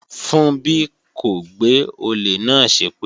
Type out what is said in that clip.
Funbí kò gbé olè náà ṣépè